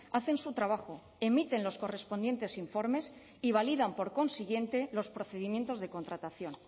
hacen su trabajo emiten los correspondientes informes y validan por consiguiente los procedimientos de contratación